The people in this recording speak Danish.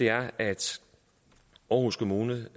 er at aarhus kommune